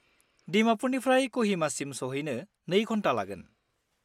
दिमापुरनिफ्राय क'हिमासिम सौहैनि 2 घन्टा लागोन।